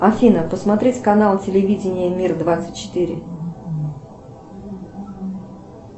афина посмотреть канал телевидения мир двадцать четыре